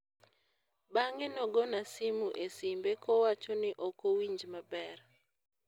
bang'e nogona simu e simbe kowachoni okowinj maber